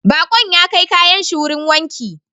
Bakon ya kai kayan shi wurin wanki